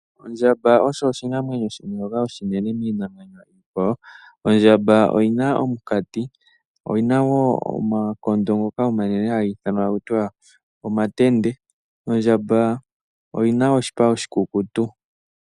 Ondjamba oyo oshinamwenyo shoka oshinene miinamwenyo iikwawo. Ondjamba oyina omunkati. Oyina wo omakondo ngoka omanene ngoka haga ithanwa taku tiwa omatende. Ondjamba oyina oshipa oshikukutu.